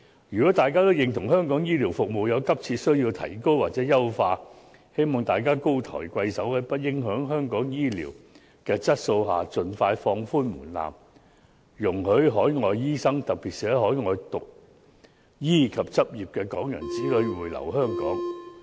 如果大家都認同香港醫療服務有急切需要提高或優化，我希望大家高抬貴手，在不影響香港醫療質素的情況下，盡快放寬門檻，容許海外醫生，特別是在海外讀醫及執業的港人子女回流香港。